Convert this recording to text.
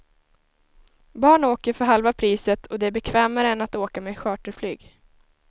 Barn åker för halva priset och det är bekvämare än att åka med charterflyg.